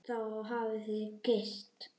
Og þá hafið þið gifst?